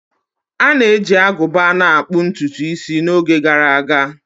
A na-eji agụba na akpu ntutu isi n'oge gara aga